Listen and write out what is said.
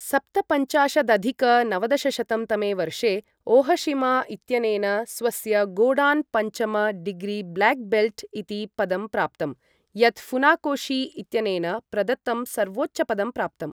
सप्तपञ्चाशदधिक नवदशशतं तमे वर्षे ओहशिमा इत्यनेन स्वस्य गोडान् पञ्चम डिग्री ब्लैक् बेल्ट् इति पदं प्राप्तम्, यत् फुनाकोशी इत्यनेन प्रदत्तं सर्वोच्चपदं प्राप्तम् ।